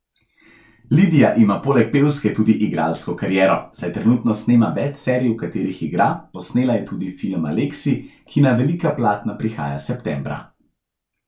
Lidija ima poleg pevske tudi igralsko kariero, saj trenutno snema več serij, v katerih igra, posnela je tudi film Aleksij, ki na velika platna prihaja septembra.